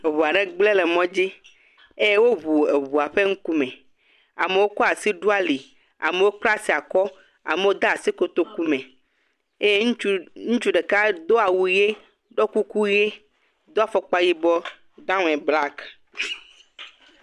Eŋua ɖe gblẽ le mɔdzi eye woŋu eŋua ƒe ŋkume. Amewo kɔ asi ɖo ali, amewo kpla asi akɔ, amewo kɔ asi de kotoku me, eye ŋutsu ɖeka do awu ʋi, ɖɔ kuku ʋi, do afɔkpa yibɔ down eh black.